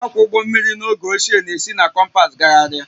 Ndị na-akwọ ụgbọ mmiri n'oge ochie na-esi na kompas gagharịa